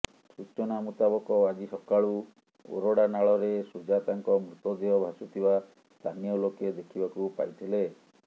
ସୂଚନା ମୁତାବକ ଆଜି ସକାଳୁ ଓରଡା ନାଳରେ ସୁଜାତାଙ୍କ ମୃତଦେହ ଭାସୁଥିବା ସ୍ଥାନୀୟ ଲୋକେ ଦେଖିବାକୁ ପାଇଥିଲେ